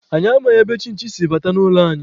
Anyị amaghị ebe chinchi si bata n'ime ụlọ anyị.